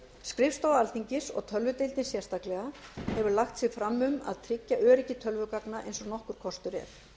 skrifstofa alþingis og tölvudeildin sérstaklega hefur lagt sig fram um að tryggja öryggi tölvugagna eins og nokkur kostur er